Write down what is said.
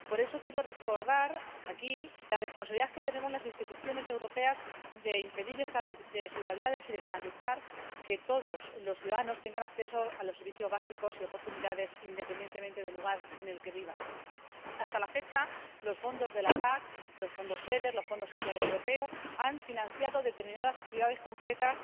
Por eso quiero recordar aquí la responsabilidad que tenemos las instituciones europeas de impedir estas desigualdades y de garantizar que todos los ciudadanos tengan acceso a los servicios básicos y a oportunidades, independientemente del lugar en el que vivan. Hasta la fecha, los fondos de la PAC, los fondos FEDER y el Fondo Social Europeo han financiado determinadas actividades concretas